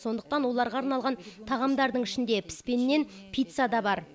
сондықтан оларға арналған тағамдардың ішінде піскеннен пицца да бар